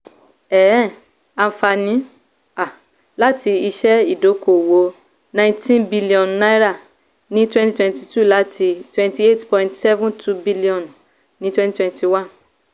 um ànfàní um láti iṣẹ́ ìdókòwò ninety bíllíọ̀nù ní twenty twenty two láti twenty eight point seven two billion ní twenty twenty one.